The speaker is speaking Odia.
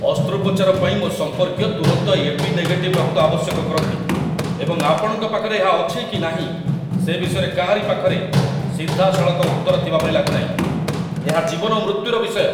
ଅସ୍ତ୍ରୋପଚାର ପାଇଁ ମୋ ସମ୍ପର୍କୀୟ ତୁରନ୍ତ ଏ.ବି. ନେଗେଟିଭ୍ ରକ୍ତ ଆବଶ୍ୟକ କରନ୍ତି, ଏବଂ ଆପଣଙ୍କ ପାଖରେ ଏହା ଅଛି କି ନାହିଁ ସେ ବିଷୟରେ କାହାରି ପାଖରେ ସିଧାସଳଖ ଉତ୍ତର ଥିବାପରି ଲାଗୁନାହିଁ ଏହା ଜୀବନ ଓ ମୃତ୍ୟୁର ବିଷୟ!